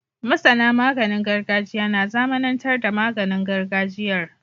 MasAna maganin gargajiya na zamAnan tar da maganin gargajiyar